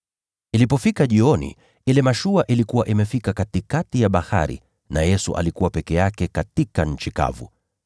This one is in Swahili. Ilipofika jioni, ile mashua ilikuwa imefika katikati ya bahari, na Yesu alikuwa peke yake katika nchi kavu.